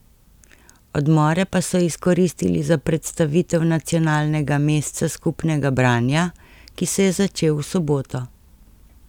Odmore pa so izkoristili za predstavitev Nacionalnega mesca skupnega branja, ki se je začel v soboto.